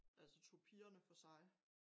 Altså tog pigerne for sig